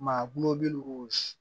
Maa gulɔ bɛ gosi